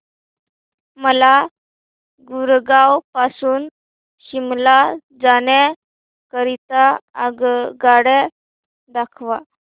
मला गुरगाव पासून शिमला जाण्या करीता आगगाड्या दाखवा